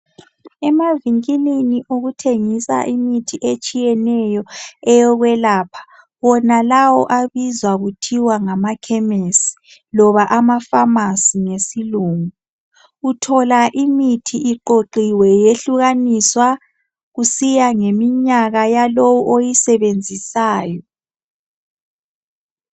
Emavinkilini okuthengiswa imithi etshiyeneyo eyokwelapha, wonalawo abizwa kuthiwa ngamakhemisi loba amafamasi ngesilungu. Uthola imithi iqoqiwe yehlukaniswa kusiya ngeminyaka yalowu oyisebenzisayo.